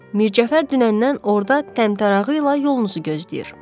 Mircəfər dünəndən orda təmtərağı ilə yolunuzu gözləyir.